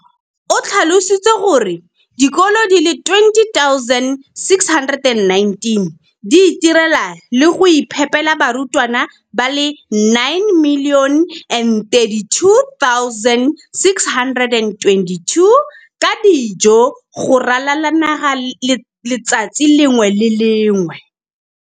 o tlhalositse gore dikolo di le 20 619 di itirela le go iphepela barutwana ba le 9 032 622 ka dijo go ralala naga letsatsi le lengwe le le lengwe.